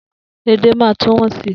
Edé máa tún wọ́n sí.